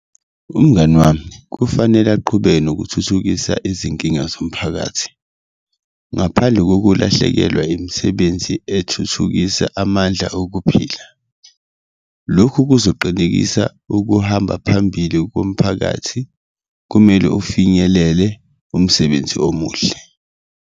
Umngani wami kufanele aqhubeke nokuthuthukisa izinkinga zomphakathi ngaphandle kokulahlekelwa imisebenzi ethuthukisa amandla okuphila, lokhu kuzoqinisekisa ukuhamba phambili komphakathi, kumele ufinyelele umsebenzi omuhle.